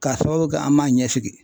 K'a sababu kɛ an m'a ɲɛsigi .